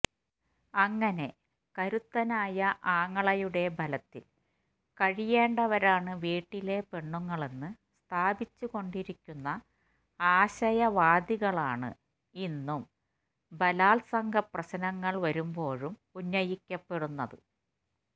അങ്ങനെ കരുത്തനായ ആങ്ങളയുടെ ബലത്തില് കഴിയേണ്ടവരാണ് വീട്ടിലെ പെണ്ണുങ്ങളെന്നു സ്ഥാപിച്ചുകൊണ്ടരിക്കുന്ന ആശയാവലികളാണ് ഇന്നും ബലാത്സംഗ പ്രശ്നങ്ങള് വരുമ്പോഴും ഉന്നയിക്കപ്പെടുന്നത്